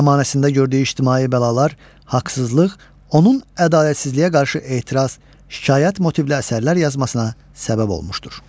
Zəmanəsində gördüyü ictimai bəlalar, haqsızlıq onun ədalətsizliyə qarşı etiraz, şikayət motivli əsərlər yazmasına səbəb olmuşdur.